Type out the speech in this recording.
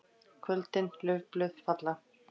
KVÖLDIN LAUFBLÖÐ FALLA.